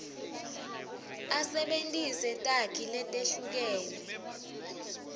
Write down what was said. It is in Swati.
asebentise takhi letehlukene